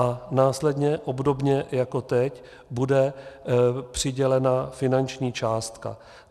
A následně, obdobně jako teď, bude přidělena finanční částka.